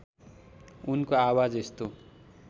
उनको आवाज यस्तो